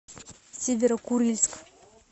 северо курильск